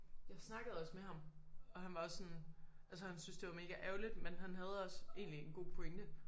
Jeg snakkede også med ham og han var også sådan altså han synes det var mega ærgerligt men han havde også egentlig en god pointe